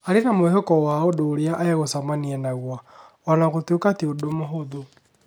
Arĩ na mwĩhoko wa ũndũ ũrĩa egũcemania naguo.O na gũtuĩka ti ũndũ mũhũthũ.